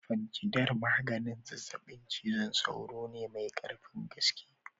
Fancidar maganin zazzabin cizon sauro ne mai karfin gaske.